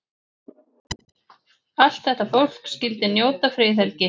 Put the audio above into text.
Allt þetta fólk skyldi njóta friðhelgi.